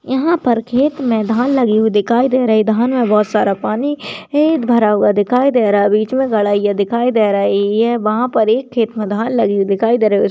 यहा पर खेत मे धान लगी हूई दिखाई दे रही है धान मे बहुत सारा पानी है भरा हुआ दिखाई दे रहा है बीच मे दिखाई दे रही है वहा पर एक खेत मे धान लगी हुई दिखाई दे रही उस--